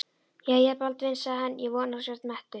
Jæja, Baldvin, sagði hann,-ég vona að þú sért mettur.